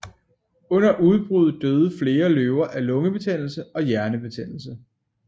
Under udbruddet døde flere løver af lungebetændelse og hjernebetændelse